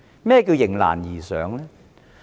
何謂"迎難而上"呢？